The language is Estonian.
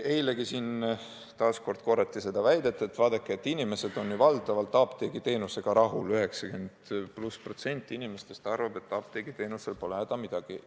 Eilegi siin taas korrati seda väidet, et vaadake, inimesed on ju valdavalt apteegiteenusega rahul, 90+ protsenti inimestest arvab, et apteegiteenusel pole häda midagi.